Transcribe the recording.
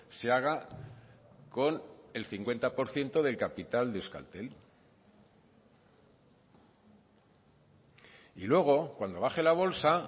se haga con el cincuenta por ciento del capital de euskaltel y luego cuando baje la bolsa